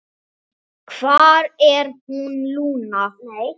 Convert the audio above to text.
Hvar er hann, Lúna?